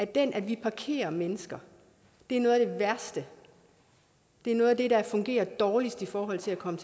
det at vi parkerer mennesker er noget af det værste det er noget af det der fungerer dårligst i forhold til at komme